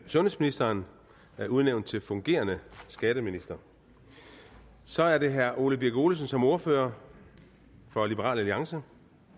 sundhedsministeren udnævnt til fungerende skatteminister så er det herre ole birk olesen som ordfører for liberal alliance